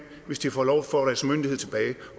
hvis de får lov